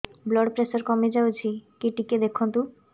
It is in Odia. ବ୍ଲଡ଼ ପ୍ରେସର କମି ଯାଉଛି କି ଟିକେ ଦେଖନ୍ତୁ